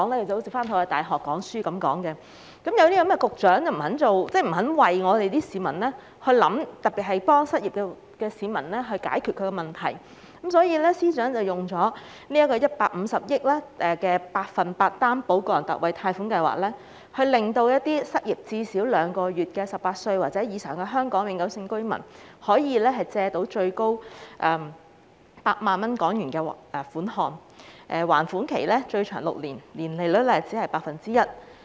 正因為局長不肯為市民設想，協助失業市民解決問題，所以司長才推出150億元的百分百擔保個人特惠貸款計劃，讓失業至少兩個月的18歲或以上香港永久性居民可以借到最高8萬港元的款項，而且還款期最長6年，年利率僅 1%。